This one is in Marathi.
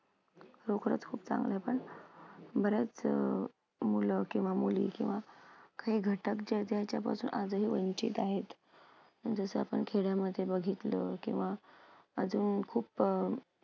नोकऱ्याच खूप चांगल्या पण बऱ्याच अ मूल किंवा मूली किंवा हे घटक जे ज्याच्यापासून आजही वंचित आहेत. जसं आपण खेड्यामध्ये बघितलं, किंवा अजून खूप अं